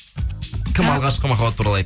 кім алғашқы махаббат туралы айт